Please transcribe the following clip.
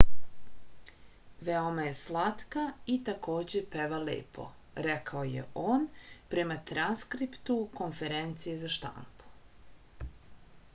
veoma je slatka i takođe peva lepo rekao je on prema transkriptu konferencije za štampu